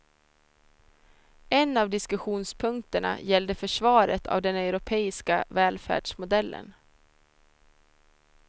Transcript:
En av diskussionspunkterna gällde försvaret av den europeiska välfärdsmodellen.